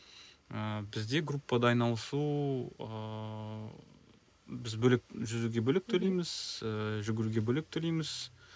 ыыы бізде группада айналысу ыыы біз бөлек жүзуге бөлек төлейміз ііі жүгіруге бөлек төлейміз